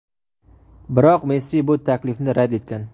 biroq Messi bu taklifni rad etgan.